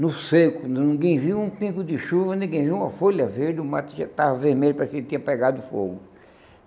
No seco, ninguém viu um pingo de chuva, ninguém viu uma folha verde, o mato já estava vermelho, parecia que ele tinha pegado fogo.